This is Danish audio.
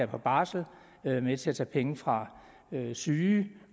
på barsel er med til at tage penge fra syge